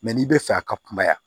Mɛ n'i bɛ fɛ a ka kumaya